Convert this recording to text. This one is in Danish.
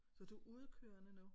Så du er udekørende nu?